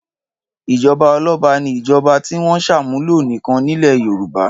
Ìjọba ọlọ́ba ni ìjọba tí wọ́n ṣàmúlò nìkan nílẹ̀ Yorùbá.